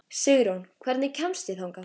Sigurjón, hvernig kemst ég þangað?